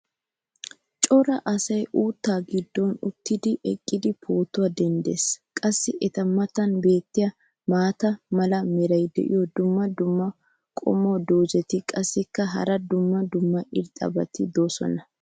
cora asay uuttaa giddon uttidinne eqqidi pootuwa denddees. qassi eta matan beetiya maata mala meray diyo dumma dumma qommo dozzati qassikka hara dumma dumma irxxabati doosona.